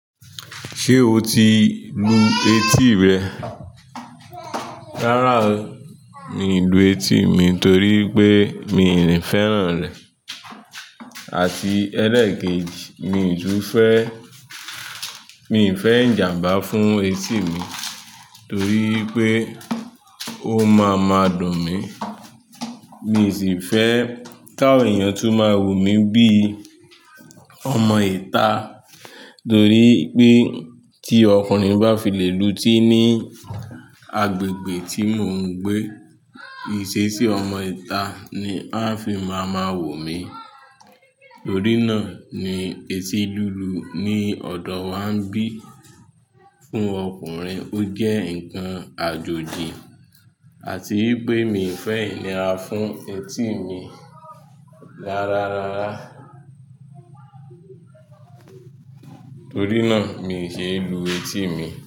Ṣé o ti lu etí rẹ? Rárá o, mi ì lu etí mi torí pé mi ni fẹ́ràn rẹ̀. Àti ẹlẹ́ẹ̀kejì, mi ì tu fẹ́, mi ì fẹ́ ìjàmbá fún etí mi torí pe ó máa ma dùn mí. Mi sì fẹ́ kawon èèyàn tún máa wò mí bíi ọmọ ìta torí pé tí ọkùnrin bá fìlẹ̀ lu etí ní agbègbè tí mò ń gbé, ìṣesí ọmọ ìta ni a fi máa máa wò mí. Torí náà ni etí lulu ni ọ̀dọ̀ wa ń bí fún ọkùnrin ó jẹ́ nǹkan àjòjì àti wípé mi ì fẹ́ ìnira fún etí mi rárárárá. Torí náà mi ì ṣe é lu etí mi.